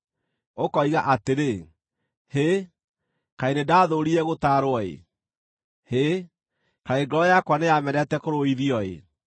Ũkoiga atĩrĩ, “Hĩ, kaĩ nĩndathũũrire gũtaarwo-ĩ! Hĩ, kaĩ ngoro yakwa nĩyamenete kũrũithio-ĩ!